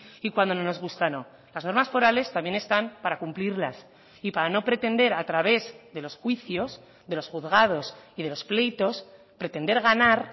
y cuando no nos gusta no las normas forales también están para cumplirlas y para no pretender a través de los juicios de los juzgados y de los pleitos pretender ganar